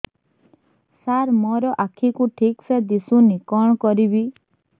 ସାର ମୋର ଆଖି କୁ ଠିକସେ ଦିଶୁନି କଣ କରିବି